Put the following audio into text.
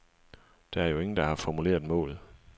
Der er jo ingen, der har formuleret målet.